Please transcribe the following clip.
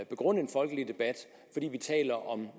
begrunde en folkelig debat fordi vi taler om